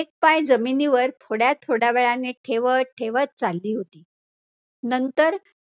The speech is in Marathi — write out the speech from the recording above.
एक पाय जमिनीवर थोड्या थोड्यावेळाने ठेवतं ठेवतं चाली होती, नंतर